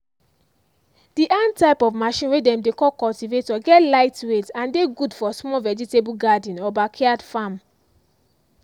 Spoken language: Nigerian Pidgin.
the hand type of machine way dem dey call cultivator get lightweight and dey good for small vegetable garden or back yard farm.